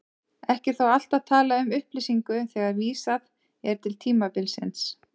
Ekki er þó alltaf talað um upplýsingu þegar vísað er til tímabilsins.